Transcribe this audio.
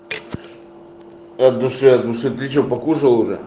от души от души ты что покушал уже